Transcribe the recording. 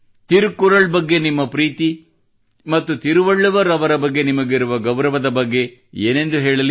ತಿರುಕ್ಕುರಲ್ ಅವರ ಬಗ್ಗೆ ನಿಮ್ಮ ಪ್ರೀತಿ ಮತ್ತು ತಿರುಕ್ಕುರುಲ್ ಅವರ ಬಗ್ಗೆ ನಿಮಗಿರುವ ಗೌರವದ ಬಗ್ಗೆ ಏನೆಂದು ಹೇಳಲಿ